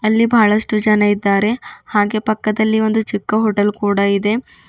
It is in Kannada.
ಅಲ್ಲಿ ಬಹಳಷ್ಟು ಜನ ಇದ್ದಾರೆ ಹಾಗೆ ಪಕ್ಕದಲ್ಲಿ ಒಂದು ಚಿಕ್ಕ ಹೋಟೆಲ್ ಕೂಡ ಇದೆ.